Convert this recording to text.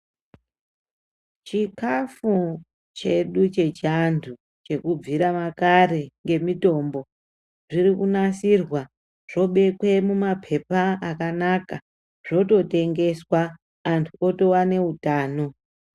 Chikafu chedu chechantu chekubvira makare ngemutimbo zviri kunasirwa zvobekwe mumapepa akanaka zvototebgeswa antu otowane utano.